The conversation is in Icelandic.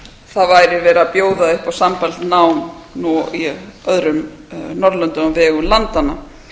það væri verið að bjóða upp á sambærilegt nám nú í öðrum norðurlöndum á vegum landanna